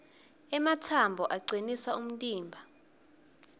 ematsambo acinisa umtimba